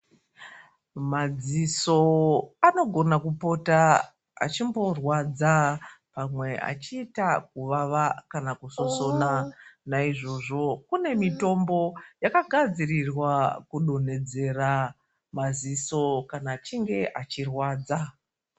Madziso anogona kupota achimborwadza pamwe achiita kuvava kana kusosona naizvozvo kune mitombo yakagadzirirwa kufonhedzera maziso kana achinge achirwadza.